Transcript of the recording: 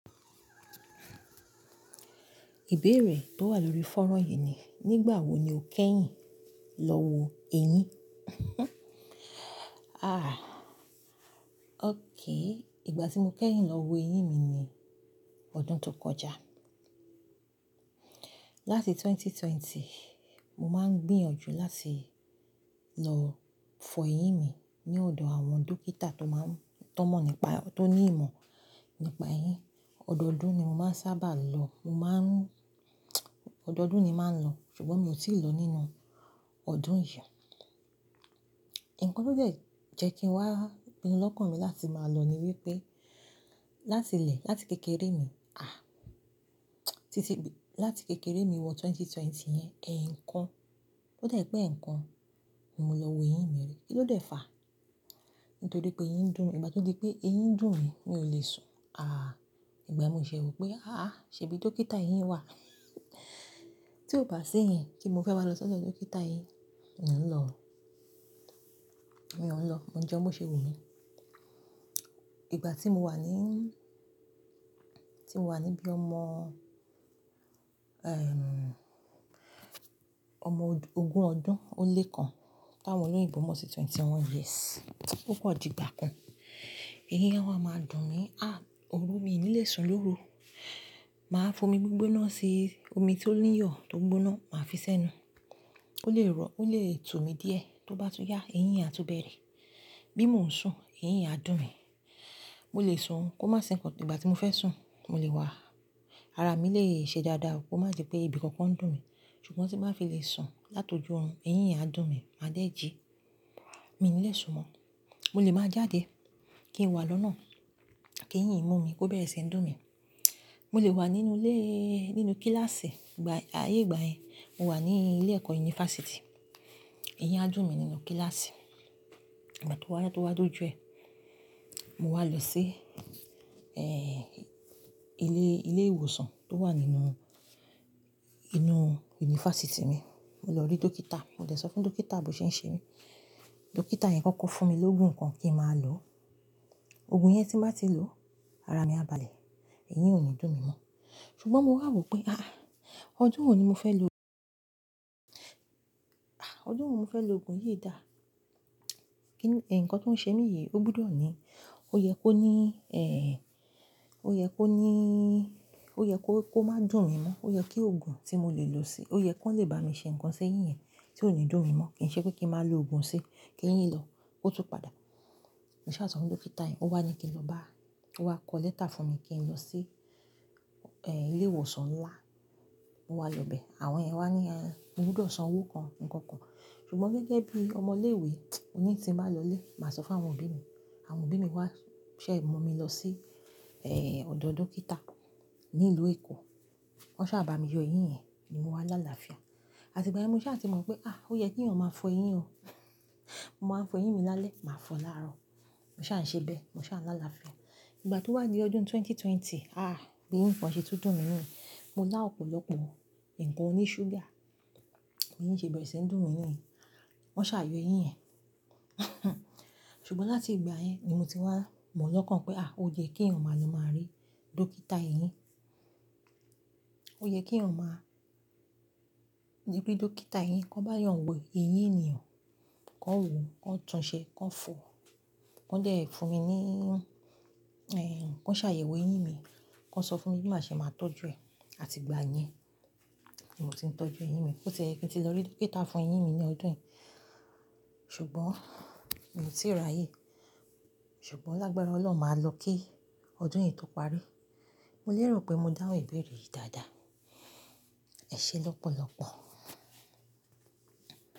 Ìbéèrè tó wà lórí fónrán yìí ni, nígbàwo ni o kẹ́yìn lọ wo eyín? Aà! Okay, ìgbà tí mo kẹ́yìn lọ wo eyín mi ni ọdún tó kọjá. Láti ẹgbẹ̀rún méjì ó lé ogún, mo máa ń gbìyànjú láti lọ fọ eyín mi ní ọ̀dọ̀ àwọn dókítà tó máa ń-- tó mọ̀ nípa-- tó ní ìmọ̀ nípa eyín. Ọ̀dọọdún ni mo máa ń sábà lọ, mo máa ń-- ọ̀dọọdún ni màá lọ, ṣùgbọ́n mi ò tíì lọ nínú ọdún yìí. Ǹkan tó jẹ́ jẹ́ kí n wá pìnu lọ́kàn mi láti máa lọ ni wípé, láti ilẹ̀, láti kékeré mi, àh! Títí-- láti kékeré mi wọ 2020 yẹn, ẹn ńkan. Ó jẹ́ pé ẹ̀ẹ̀kan, mo lọ wo eyín mi rí. Kí ló dé fà? Nítorí pé eyín ń dùn mí. Ìgbà tó di pé eyín ń dùn mí, mi ò lè sùn. Aà! Ìgbà yen mo ṣe wo wípé, "àá, ṣebí dókítà eyín wà?" tí ó bá sí yen kí n mo fẹ́ wá lọ sọ́dọ̀ dókítà eyín, uh o i lọ o. Mio n lọ. Mo n jẹ́un bó ṣe wumí. Ìgbà tí mo wà ní, tí mo wà ní bí ọmọ, ehm, ọmọ ogún ọdún ó lé kan. Tá wòn oní oyibò mọ́ sí twenty one years. Okan di gbà kan. Eyín á wa máa dùn mí. Àh! Orú mi ò ní lè sùn lóru. Màá fo mi gbígbóná se omi tí ó níyọ̀ tó gbóná, màá fi sẹ́nu. Ó lè rọ, ó lè tú mi díẹ̀. Tó bá tún yá, eyín àtú bẹ̀rẹ̀. Bí mo ń sùn, eyín á dùn mí. Mo lè sùn, kó má sì nkan Ìgbà tí mo fẹ́ sùn, mo lè wá. Ara mi leè ṣe dáadáa o, kó má je pé ibi kankan dùn mí. Ṣùgbọ́n tí màá fi lè sùn látọjú òorun, eyín yen a dùn mí, màá dé jí. Mi ò ní lè sùn mọ́. Mo lè máa jáde kí n wà lọ́nà, kí eyín mú mi, kó bẹ̀rẹ̀ sí ń dùn mí. Mo lè wà nínú ilé, nínú kíláàsì. Ìgbà-- ayé ìgbà yẹn, mo wà ní ilé ẹ̀kọ́ yunifásítì. Eyín á dùn mí nínú kíláàsì. Ìgbà tó wá, tó wá tó do jù ẹ, mo wá lọ sí, eh, ilé, ilé ìwòsàn tó wà nínú, inú yunifásítì mi. Mo lọ rí dókítà. Mo dẹ̀ sọ fún dókítà bò ṣe ń ṣe mí. Dókítà yẹn kọ́kọ́ fún mi lógun ǹkan kí màá lò. Ògùn yẹn tí n ba ti lò, ara mi á balẹ̀, eyín ò ní dùn mí mọ́. Ṣùgbọ́n mo wá rò pé, "àháh, ọdún wo ni mo fẹ́ lo-- àh, ọdún wo mo fẹ́ lo ògùn yìí dá?" Kí-- ẹ̀ẹ̀, ǹkan tó ń ṣe mí yìí, ó gbúdọ̀ ni, ó yẹ kó ní, eh, ó yẹ kó níí, ó yẹ kó, kó má dùn mí mọ́. Ó yẹ kí ògùn tí mo lè lò sí-- ó yẹ kan lè bá mi ṣe ǹkan sí eyín yẹn tí ò ní dùn mí mọ́. Kì í ṣe pé kí màá lo ògùn sí, kí eyín lọ, kó tún padà. Mo sa sọ̀ fún dókítà yẹn, ó wá ní kí n lọ bá-- ó wá kọ lẹ́tà fún mi kí n lọ sí, eh, ilé ìwòsàn ńlá. Mo wá lọ bẹ. Àwọn iyẹn wá ní, a, mo gbúdọ̀ san owó kan, ǹkan kan. Ṣùgbọ́n gege bí ọmọ ilé ìwé mo ní tí n bá lọ ilé, màá sọ fún àwọn òbí mi. Àwọn òbí mi wá ṣẹ mu mi lọ sí, eh, ọ̀dọ̀ dókítà ní ìlú Èkó. Wọ́n ṣà bà mi yọ eyín yẹn, ni mo wá láàláfia. Àti ìgbà yẹn mo sáà ti mọ̀ pé, "àh, ó yẹ kí eyan ò máa fọ eyín o." Mo máa ń fọ eyín mi lálẹ́, màá fọ láàrọ̀. Mo sáà n ṣe bẹ́ẹ̀, mo sáà n láàláfia. Ìgbà tó wà di ọdún ẹgbẹ̀rún méjì ó lé ogún, àh! Eyín kan ṣe tun dùn mí niyen mo lá ọ̀pọ̀lọpọ̀ ǹkan oní ṣúgà, eyín ṣe bẹ̀rẹ̀ sí ń dùn mí niyen. Wọ́n ṣà yọ eyín yẹn. Ṣùgbọ́n láti ìgbà yẹn ni mo ti wá mọ̀ lọ́kàn pé, àh, ó yẹ kí eyan ò máa lọ máa rí dókítà eyín. Ó yẹ kí n ò máa ni ki dókítà eyín, kan bá yàn wo eyín ènìyàn, kan wo, kan tún un ṣe, kan fọ, kan dẹ́ ẹ fún mi ní, eh, kan ṣàyẹ̀wò eyín mi, kan sọ fún mi bí màá ṣe máa tọ́jú ẹ. Àti ìgbà yẹn ni mo ti ń tọ́jú eyín mi. Ó ti yẹ kí n ti lọ rí dókítà fún eyín mi ní ọdún yìí, ṣùgbọ́n mi ò tíì rà ye. Ṣùgbọ́n lágbára Ọlọ́run, màá lọ kí ọdún yìí tó parí. Mo lérò pé mo dáhùn ìbéèrè yìí dáadáa. Ẹ ṣé lọ́pọ̀lọpọ̀.